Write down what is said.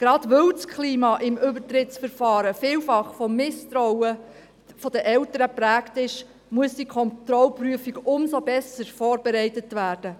Gerade weil das Klima beim Übertrittsverfahren vielfach von Misstrauen der Eltern geprägt ist, muss die Kontrollprüfung umso besser vorbereitet werden.